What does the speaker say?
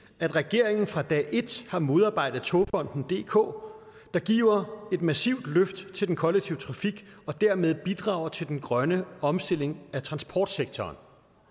at regeringen fra dag et har modarbejdet togfonden dk der giver et massivt løft til den kollektive trafik og dermed bidrager til den grønne omstilling af transportsektoren